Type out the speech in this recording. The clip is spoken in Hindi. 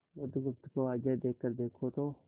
बुधगुप्त को आज्ञा देकर देखो तो